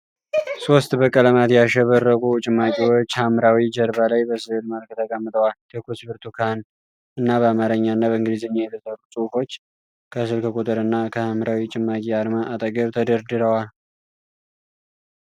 ሶስት በቀለማት ያሸበረቁ ጭማቂዎች ሐምራዊ ጀርባ ላይ በስእል መልክ ተቀምጠዋል። ትኩስ ብርቱካን እና በአማርኛ እና በእንግሊዘኛ የተሰሩ ጽሑፎች ከስልክ ቁጥር እና ከሐምራዊ ጭማቂ አርማ አጠገብ ተደርድረዋል።